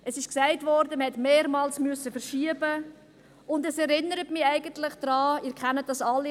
Es wurde gesagt, man habe mehrmals verschieben müssen, und es erinnert mich eigentlich daran – Sie kennen das alle: